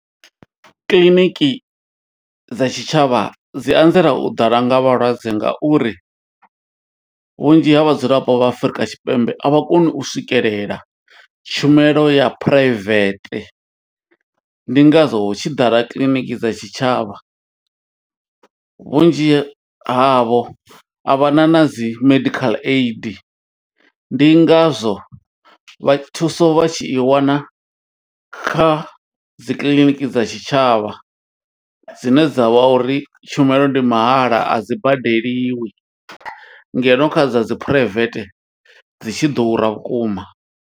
Kiḽiniki dza tshitshavha dzi anzela u ḓala nga vhalwadze, nga uri vhunzhi ha vhadzulapo vha Afrika Tshipembe a vha koni u swikelela, tshumelo ya phuraivete. Ndi ngazwo hu tshi ḓala kiḽiniki dza tshitshavha. Vhunzhi havho a vha na na dzi medical aid, ndi ngazwo vha thuso vha tshi i wana kha dzi kiḽiniki dza tshitshavha, dzine dza vha uri tshumelo ndi mahala, a dzi badeliwi. Ngeno, kha dza dzi private, dzi tshi ḓura vhukuma.